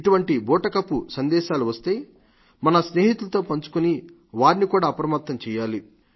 ఇటువంటి బూటకపు సందేశాలు వస్తే మన స్నేహితులతో పంచుకుని వారిని కూడా అప్రపమత్తం చేయాలి